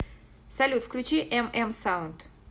салют включи эм эм саунд